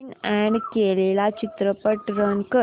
नवीन add केलेला चित्रपट run कर